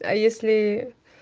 а если